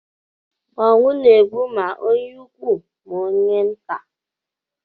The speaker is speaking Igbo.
Ọnwụ na-egbu ma onye ukwu, ma onye nta